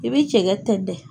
I bi cɛkɛ tɛndɛ.